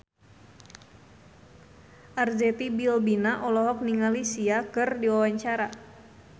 Arzetti Bilbina olohok ningali Sia keur diwawancara